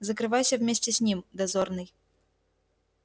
закрывайся вместе с ним дозорный